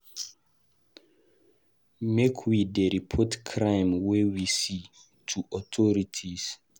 Make we dey report crime wey we see to authorities.